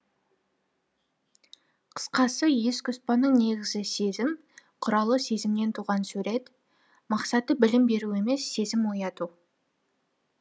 қысқасы ескүстбаның негізі сезім құралы сезімнен туған сурет мақсаты білім беру емес сезім ояту